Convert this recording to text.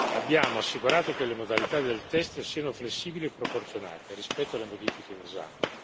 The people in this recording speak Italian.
Abbiamo assicurato che le modalità del test siano flessibili e proporzionate rispetto alle modifiche in esame.